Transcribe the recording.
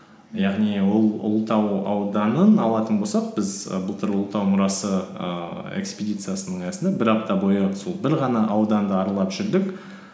яғни ол ұлытау ауданын алатын болсақ біз і былтыр ұлытау мұрасы ііі экспедициясының аясында бір апта бойы сол бір ғана ауданды аралап жүрдік